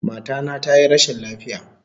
Mata na tayi rashin lafiya